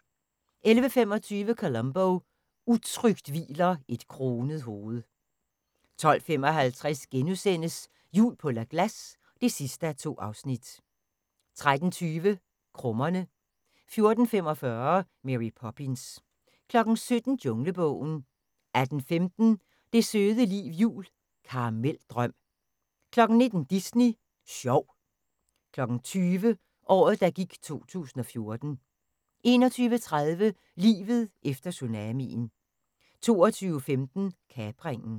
11:25: Columbo: Utrygt hviler et kronet hoved 12:55: Jul på La Glace (2:2)* 13:20: Krummerne 14:45: Mary Poppins 17:00: Junglebogen 18:15: Det søde liv jul – Karameldrøm 19:00: Disney sjov 20:00: Året, der gik 2014 21:30: Livet efter tsunamien 22:15: Kapringen